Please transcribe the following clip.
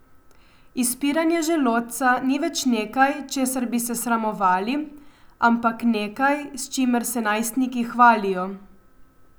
Izpiranje želodca ni več nekaj, česar bi se sramovali, ampak nekaj, s čimer se najstniki hvalijo.